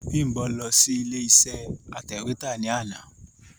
Bímbọ̀ lọ sí ilé iṣé atẹ̀wétà ní àná.